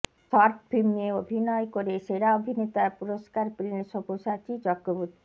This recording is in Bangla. শর্টফিল্মে অভিনয় করে সেরা অভিনেতার পুরষ্কার পেলেন সব্যসাচী চক্রবর্তী